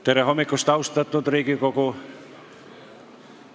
Tere hommikust, austatud Riigikogu!